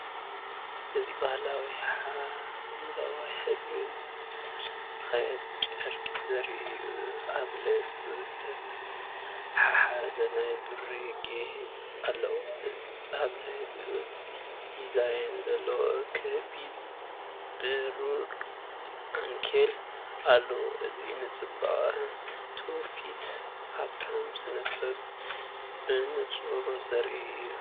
እዚ ባህላዊ ሐምላይ ሕብሪ ዝተለኽየ ጨርቂ ዘርኢ እዩ። ኣብ ልዕሊኡ ዝተተሓሓዘ ናይ ብሩር ጌጽ ኣለዎ፣ ኣብ ልዕሊኡ ዲዛይን ዘለዎ ክቢ ብሩር ዓንኬል ኣለዎ። ። እዚ ንጽባቐ ትውፊትን ሃብታም ስነ-ጥበብን ብንጹር ዘርኢ እዩ።